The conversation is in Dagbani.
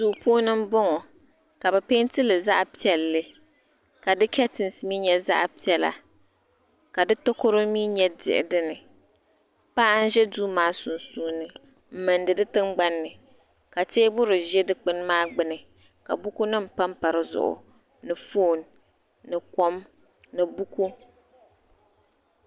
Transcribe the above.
Duu puuni m-bɔŋɔ ka bɛ peenti li zaɣ'piɛlli ka di ketisi nyɛ zaɣ'piɛla ka di takoro mi nyɛ diɣu paɣa n-ʒe duu maa sunsuuni m-mindi di tingbani ni ka teebuli ʒe dukpuni maa gbuni ka bukunima pampa di zuɣu ni foon ni kom ni buku.